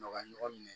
Nɔgɔya ɲɔgɔn minɛ